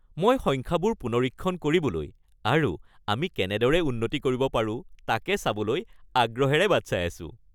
মই সংখ্যাবোৰ পুনৰীক্ষণ কৰিবলৈ আৰু আমি কেনেদৰে উন্নতি কৰিব পাৰো তাকে চাবলৈ আগ্ৰহেৰে বাট চাই আছোঁ।